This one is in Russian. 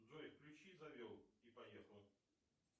джой включи завел и поехал